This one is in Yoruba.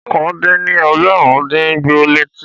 Ọ̀kàn dín ní ẹgbẹ̀rún dùn gbó létí